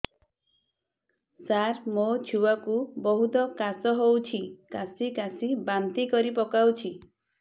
ସାର ମୋ ଛୁଆ କୁ ବହୁତ କାଶ ହଉଛି କାସି କାସି ବାନ୍ତି କରି ପକାଉଛି